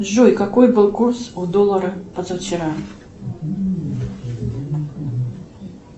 джой какой был курс у доллара позавчера